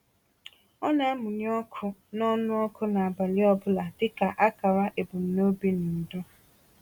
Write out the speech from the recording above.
Ọ na-amụnye ọkụ n’ọnụ ọkụ n’abalị ọ bụla dịka akara ebumnobi na udo. um